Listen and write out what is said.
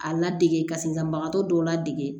A ladege ka senkanbagatɔ dɔw ladege